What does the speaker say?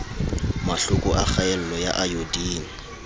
mahloko a kgaello ya ayodine